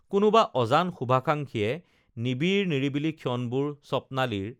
কোনোবা অজান শুভাকাঙ্খীয়ে নিবিড় নিৰিবিলি ক্ষণবোৰ স্বপ্নালীৰ